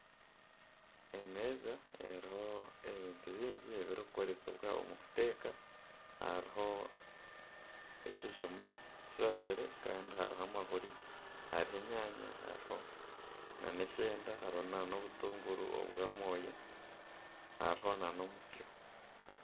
Emeeza eriho ebintu bingi ebirikukoresibwa omu kuteeka hariho ekijuma kishazire kandi hariho amahuri hariho enyanya hariho na n'eshenda hariho n'obutunguru obw'amabaabi hariho n'omusyo.